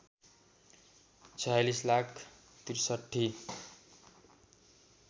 ४६ lakh ६३